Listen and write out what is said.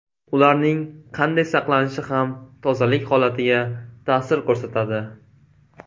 Ularning qanday saqlanishi ham tozalik holatiga ta’sir ko‘rsatadi.